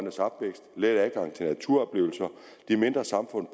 let adgang til naturoplevelser de mindre samfund